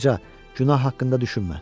Ancaq günah haqqında düşünmə.